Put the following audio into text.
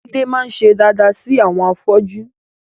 Láídé máa ń ṣe daada sí àwọn afọ́jú